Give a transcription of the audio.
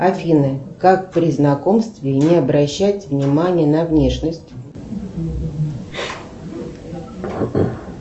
афина как при знакомстве не обращать внимание на внешность